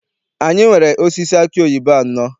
Anyị nwere osisi aki oyibo anọ.